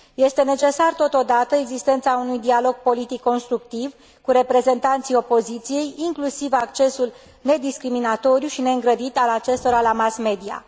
Este necesară, totodată, existența unui dialog politic constructiv cu reprezentanții opoziției, inclusiv accesul nediscriminatoriu și neîngrădit al acestora la mass media.